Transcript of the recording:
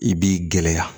I b'i gɛlɛya